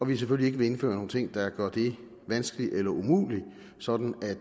vi selvfølgelig ikke vil indføre nogle ting der gør det vanskeligt eller umuligt sådan at